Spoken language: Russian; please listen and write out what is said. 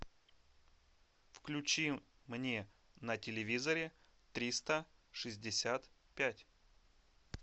включи мне на телевизоре триста шестьдесят пять